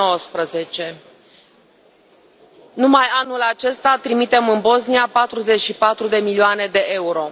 2019. Numai anul acesta trimitem în Bosnia 44 milioane EUR.